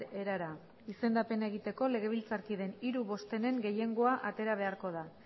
erara izendapena egiteko legebiltzarkideen hiru bostenen gehiengoa atera beharko da